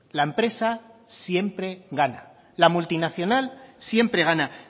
la empresa siempre gana la multinacional siempre gana